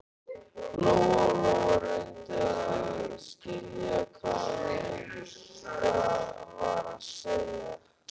Lóa-Lóa reyndi að skilja hvað Munda var að segja.